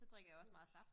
Brus